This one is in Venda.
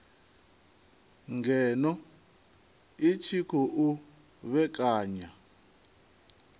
ngeno i tshi khou vhekanya